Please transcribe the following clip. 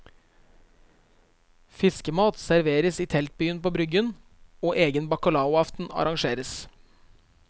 Fiskemat serveres i teltbyen på bryggen, og egen bacalaoaften arrangeres.